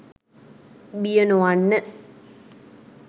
බිය නොවන්න